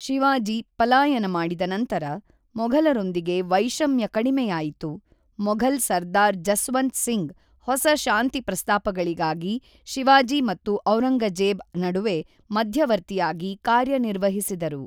ಶಿವಾಜಿ ಪಲಾಯನ ಮಾಡಿದ ನಂತರ, ಮೊಘಲರೊಂದಿಗೆ ವೈಷಮ್ಯ ಕಡಿಮೆಯಾಯಿತು, ಮೊಘಲ್ ಸರ್ದಾರ್ ಜಸ್ವಂತ್ ಸಿಂಗ್ ಹೊಸ ಶಾಂತಿ ಪ್ರಸ್ತಾಪಗಳಿಗಾಗಿ ಶಿವಾಜಿ ಮತ್ತು ಔರಂಗಜೇಬ್ ನಡುವೆ ಮಧ್ಯವರ್ತಿಯಾಗಿ ಕಾರ್ಯನಿರ್ವಹಿಸಿದರು.